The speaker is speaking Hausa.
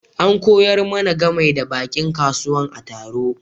An koyar mana gamai da bankin kasuwan a taro.